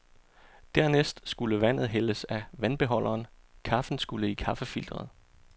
Dernæst skulle vandet hældes på vandbeholderen, kaffen skulle i kaffefilteret.